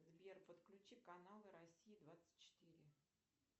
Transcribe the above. сбер подключи канал россия двадцать четыре